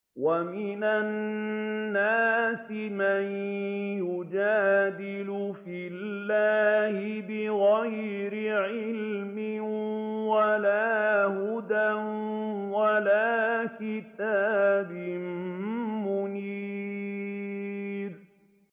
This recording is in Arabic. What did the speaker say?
وَمِنَ النَّاسِ مَن يُجَادِلُ فِي اللَّهِ بِغَيْرِ عِلْمٍ وَلَا هُدًى وَلَا كِتَابٍ مُّنِيرٍ